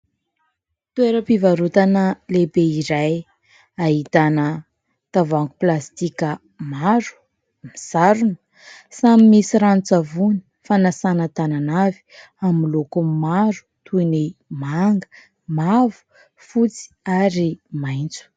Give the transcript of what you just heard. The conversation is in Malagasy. Toeram-pivarotana lehibe iray ahitana tavoahangy plastika maro ; misarona ; samy misy ranon-tsavony fanasana tanana avy amin'ny loko maro toy ny : manga, mavo, fotsy ary maitso.